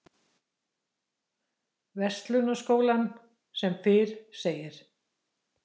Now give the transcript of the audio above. Verslunarskólann sem fyrr segir.